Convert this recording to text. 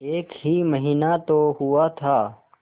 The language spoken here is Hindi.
एक ही महीना तो हुआ था